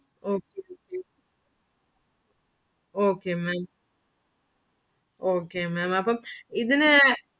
Okay Okay Okay Maám അപ്പം ഇതിനു